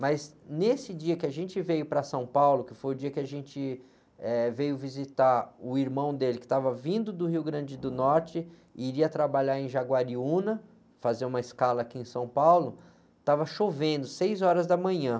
Mas nesse dia que a gente veio para São Paulo, que foi o dia que a gente, eh, veio visitar o irmão dele, que estava vindo do Rio Grande do Norte e iria trabalhar em Jaguariúna, fazer uma escala aqui em São Paulo, estava chovendo, seis horas da manhã.